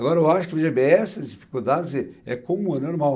Agora, eu acho que essas dificuldades é é comum é normal.